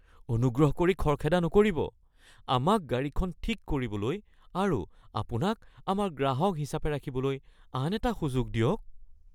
অনুগ্ৰহ কৰি খৰখেদা নকৰিব। আমাক গাড়ীখন ঠিক কৰিবলৈ আৰু আপোনাক আমাৰ গ্ৰাহক হিচাপে ৰাখিবলৈ আন এটা সুযোগ দিয়ক (মেকানিক)